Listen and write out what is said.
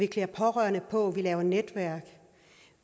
klæde pårørende på og lave netværk